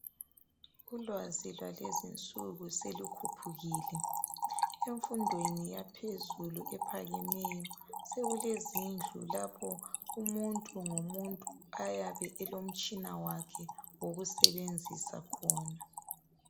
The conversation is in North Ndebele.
Ulwazi lwalezinsuku selukhuphukile emfundweni yaphezulu ephakemeyo sekulezindlu lapho umuntu ngomuntu ayabe elomtshina wakhe ngokusebenzisa khona.